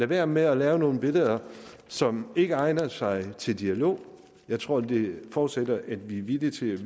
være med at lave nogle billeder som ikke egner sig til dialog jeg tror det forudsætter at vi er villige til